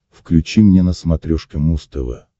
включи мне на смотрешке муз тв